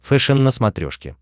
фэшен на смотрешке